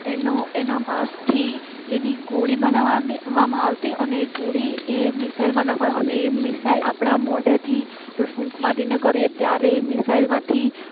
એનું એના માસ થી એની ગોળીઓ બનાવવાની આવતી અને ગોળી એ મિસાઈલમાં નાખવાની અને એ મિસાઈલ આપણા મોઢાથી ફૂંક મારીને કરીએ ત્યારે એ મિસાઈલ માંથી